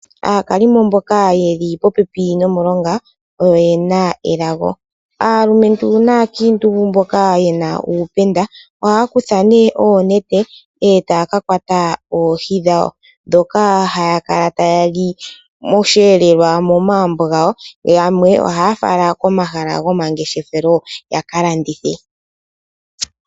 Aakalimo mboka eli popepi nomulonga oyena elago. Aalumentu naankiintu mboka yena uupenda ohaya kutha oonete taya ka kwata oohi dhawo ndhoka haya kala ta yali momagumbo gawo, yamwe ohaya fala komahala gomangeshefelo yakalandithe ya mone iiyemo yawo.